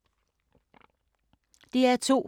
DR2